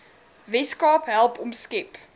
weskaap help omskep